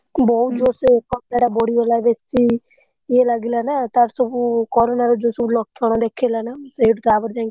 ବହୁତ ଜୋରସେ ଥଣ୍ଡାଟା ବଢିଗଲା ବେଶୀ ଇଏ ଲାଗିଲା ନା। ତାର ସବୁ corona ଯୋଉ ସବୁ ଲକ୍ଷଣ ଦେଖେଇଲା ନା ସେଉଠୁ ତାପରେ ଯାଇକି।